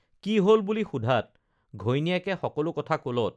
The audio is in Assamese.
কি হল বুলি সোধাত ঘৈণীয়েকে সকলো কথা কলত